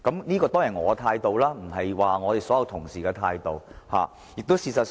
這當然是我的態度，不是所有同事的態度。